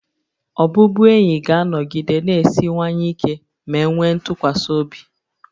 Ọbụbụenyi ga-anọgide na-esiwanye ike ma e nwee ntụkwasị obi